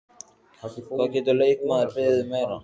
Hvað getur leikmaður beðið um meira?